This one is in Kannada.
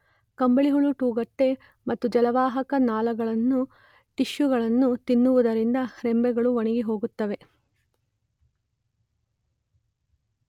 ಕಂಬಳಿಹುಳು ತೊಗಟೆ ಮತ್ತು ಜಲವಾಹಕ ನಾಳಗಳನ್ನು ಟಿಷ್ಯೂಗಳನ್ನು ತಿನ್ನುವುದರಿಂದ ರೆಂಬೆಗಳು ಒಣಗಿಹೋಗುತ್ತವೆ.